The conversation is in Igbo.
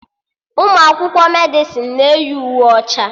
Ụmụ akwụkwọ Medịsịn na-eyi uwe ọcha